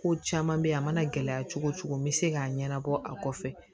Ko caman bɛ yen a mana gɛlɛya cogo cogo n bɛ se k'a ɲɛnabɔ a kɔfɛ